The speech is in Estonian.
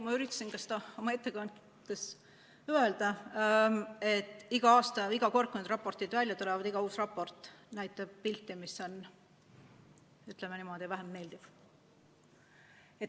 Ma üritasin seda ka oma ettekandes öelda, et iga aasta ja iga kord, kui need raportid välja tulevad, iga uus raport näitab pilti, mis on, ütleme niimoodi, vähem meeldiv.